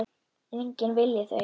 Enginn vilji þau.